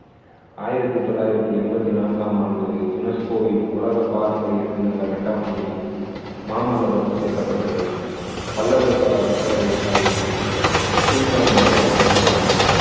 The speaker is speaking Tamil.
ஆயிரத்து தொள்ளாயிரத்து என்பத்தி நான்காம் ஆண்டு UNESCO வின் உலக பாரம்பரிய சின்னங்கள் அட்டவணையில் மாமல்லபுரம் சேர்க்கப்பட்டது பல்லவர்கால கட்டிடக்கலையை கீழ்காணுமாறு வகைப்படுத்தலாம்